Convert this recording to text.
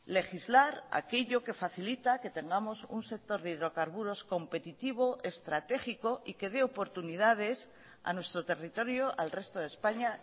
legislar aquello que facilita que tengamos un sector de hidrocarburos competitivo estratégico y que dé oportunidades a nuestro territorio al resto de españa